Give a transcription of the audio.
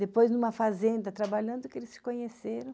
Depois, numa fazenda, trabalhando, que eles se conheceram.